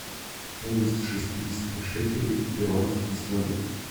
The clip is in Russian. стоимость шестидесяти шекелей в перуанские соли